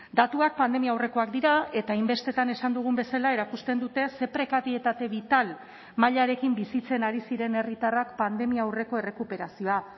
datuak pandemia aurrekoak dira eta hainbestetan esan dugun bezala erakusten dute ze prekarietate bital mailarekin bizitzen ari ziren herritarrak pandemia aurreko errekuperazioa